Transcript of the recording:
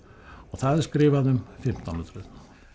það er skrifað um fimmtán hundruð